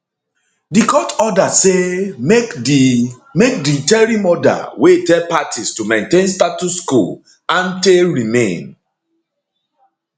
di court order say make di make di interim order wey tell parties to maintain status quo ante remain